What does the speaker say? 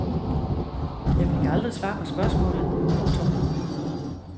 Jeg fik aldrig svar på spørgsmålet. punktum